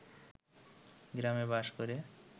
গ্রামে বাস করে।